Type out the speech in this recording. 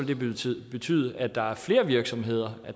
det betyde betyde at der er flere virksomheder